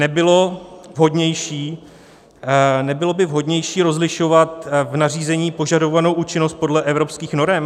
Nebylo by vhodnější rozlišovat v nařízení požadovanou účinnost podle evropských norem?